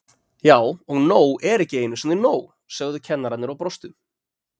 Já og nóg er ekki einu sinni nóg, sögðu kennararnir og brostu.